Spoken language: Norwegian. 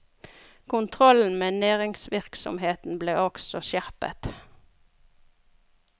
Kontrollen med næringsvirksomheten ble også skjerpet.